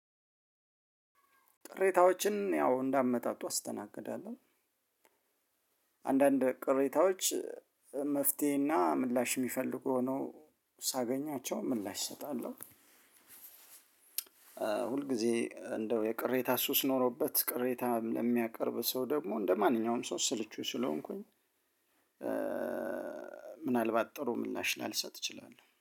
ቅሬታዎችን ያው እንደ አመጣቱ አስተናግዳለሁ። አንዳንድ ቅሬታዎች መፍትሄ እና ምላሽ የምፈልጉ ሆነው ሳገኛቸው ምላሽ እሰጣለሁ። ሁል ጊዜ እንደው የቅሬታ ሱስ ኖሮበት ቅሬታ ለሚያቀርብ ሰው ደግሞ እንደማንኛውም ሰው ስልቹ ስለሆንኩኝ ምናልባት ጥሩ ምላሽ ላልሰጥ እችላለሁ።